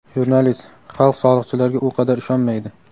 jurnalist: — Xalq soliqchilarga u qadar ishonmaydi.